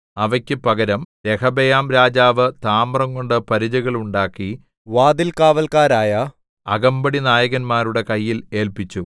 അവക്കു പകരം രെഹബെയാംരാജാവ് താമ്രംകൊണ്ട് പരിചകൾ ഉണ്ടാക്കി രാജധാനിയുടെ വാതിൽ കാവൽക്കാരായ അകമ്പടിനായകന്മാരുടെ കയ്യിൽ ഏല്പിച്ചു